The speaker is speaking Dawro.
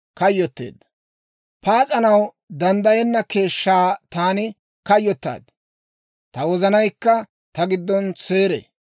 Pas'anaw danddayenna keeshshaa taani kayyotaad; ta wozanaykka ta giddon seeree.